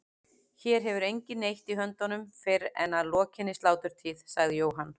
Hér hefur enginn neitt í höndunum fyrr en að lokinni sláturtíð, sagði Jóhann.